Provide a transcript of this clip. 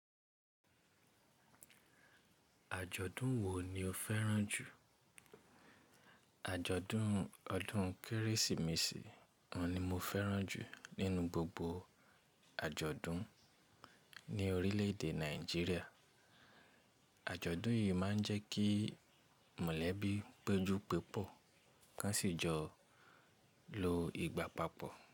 Àjọ̀dún wo ni o fẹ́ràn jù? Àjọ̀dún ọdún Kérésìmesì ni mo fẹ́ràn jù nínú gbogbo àjọ̀dún ní orílẹ̀èdè Nàìjíríà. Àjọ̀dún yìí máa ń jẹ́ kí mọ̀lẹ́bí péjú pe pọ̀, ká sì jọ lo ìgbà papọ̀.